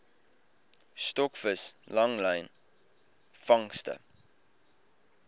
stokvis langlyn vangste